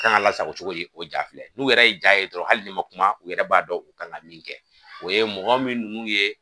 u kan ŋa lasago cogo di, o ja filɛ. N'u yɛrɛ ye ja ye dɔrɔn hali n'i ma kuma u yɛrɛ b'a dɔn u kan ŋa min kɛ. O ye mɔgɔ min n'u ye